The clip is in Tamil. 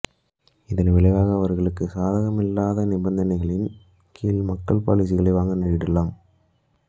இதன் விளைவாக அவர்களுக்கு சாதகமில்லாத நிபந்தனைகளின் கீழ் மக்கள் பாலிசிகளை வாங்க நேரிடலாம்